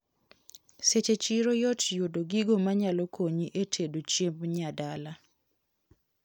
Seche chiro yot yudo gigo manyalo konyi etedo chiemb nyadala.